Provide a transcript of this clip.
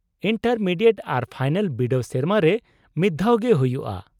-Intermediate ᱟᱨ final ᱵᱤᱰᱟᱹᱣ ᱥᱮᱨᱢᱟ ᱨᱮ ᱢᱤᱫᱽᱫᱷᱟᱣ ᱜᱮ ᱦᱩᱭᱩᱜᱼᱟ ᱾